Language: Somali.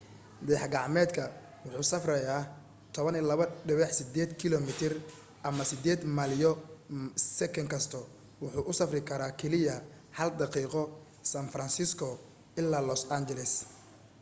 dayax gacmeedka wuxuu safraya 12.8 km ama 8 maylo sekin kasta wuxuu u safri kara keliya hal daqiiqo san francisco ilaa los angeles